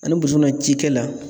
Ani na cikɛla